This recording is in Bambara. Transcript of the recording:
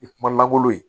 I kuma lankolon ye